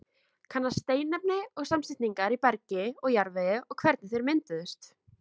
Kanna steinefni og samsetningu í bergi og jarðvegi og hvernig þeir mynduðust.